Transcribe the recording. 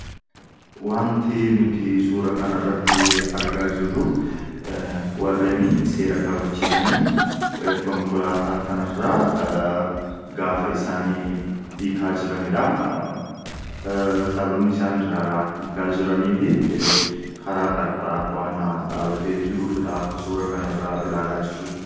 wanti nuti suura kana irratti argaa jirru warreen seera kabachiisanii konkolaataa kanirra gaafa isaanii hiikaa jiraniidha sababni isaanirraa hikaa jiranii fi karaa qarqaraa waana dhaabatee jiruufdha akka suura kanirraa ilaalaa jirrutti